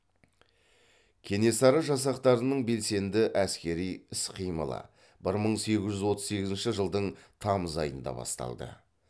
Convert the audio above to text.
кенесары жасақтарының белсенді әскери іс қимылы бір мың сегіз жүз отыз сегізінші жылдың тамыз айында басталды